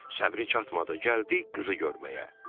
Səbri çatmadı, gəldi qızı görməyə.